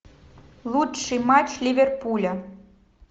лучший матч ливерпуля